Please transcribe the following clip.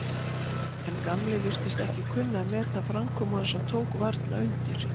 En Gamli virtist ekki kunna að meta framkomu hans og tók varla undir.